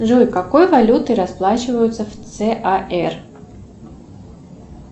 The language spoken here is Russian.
джой какой валютой расплачиваются в цар